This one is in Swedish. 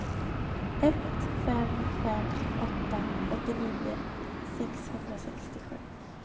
ett fem fem åtta åttionio sexhundrasextiosju